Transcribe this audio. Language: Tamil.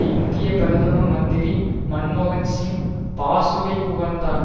இந்திய பிரதம மந்திரி மன்மோகன் சிங் பாசுவை புகழ்ந்தார்